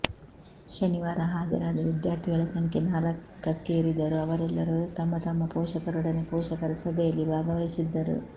ಶನಿವಾರ ಹಾಜರಾದ ವಿದ್ಯಾರ್ಥಿಗಳ ಸಂಖ್ಯೆ ನಾಲ್ಕಕ್ಕೇರಿದ್ದರೂ ಅವರೆಲ್ಲರೂ ತಮ್ಮ ತಮ್ಮ ಪೋಷಕರೊಡನೆ ಪೊಷಕರ ಸಭೆಯಲ್ಲಿ ಭಾಗವಹಿಸಿದ್ದರು